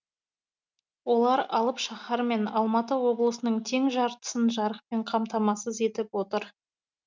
олар алып шаһар мен алматы облысының тең жартысын жарықпен қамтамасыз етіп отыр